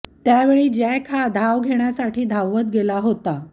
त्यावेळी जॅक हा धाव घेण्यासाठी धवत गेला होता